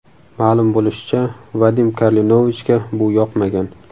Ma’lum bo‘lishicha, Vadim Karlenovichga bu yoqmagan.